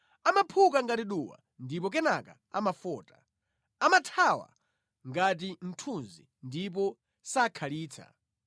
Amaphuka ngati duwa ndipo kenaka amafota; amathawa ngati mthunzi ndipo sakhalitsa.